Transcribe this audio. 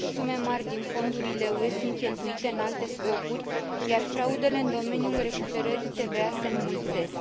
Sume mari din fondurile UE sunt cheltuite în alte scopuri, iar fraudele în domeniul recuperării TVA se înmulțesc.